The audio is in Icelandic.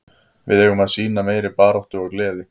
Við eigum að sýna meiri baráttu og gleði.